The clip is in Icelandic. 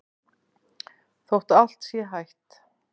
Þótt allt sé hætt?